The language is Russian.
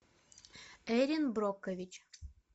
эрин брокович